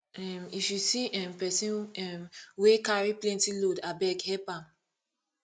um if you see um pesin um wey carry plenty load abeg help am